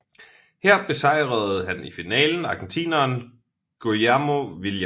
Her besejrede han i finalen argentineren Guillermo Vilas